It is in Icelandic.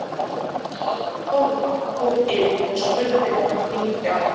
Mamma Dóra kom inn og spurði hvað gengi á.